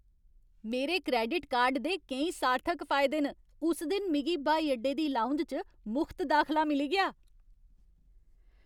मेरे credit card दे केईं सार्थक फायदे न। उस दिन मिगी ब्हाई अड्डे दी लाउंज च मुख्त दाखला मिली गेआ।